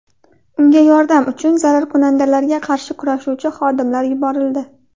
Unga yordam uchun zararkunandalarga qarshi kurashuvchi xodimlar yuborildi.